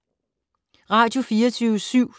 Radio24syv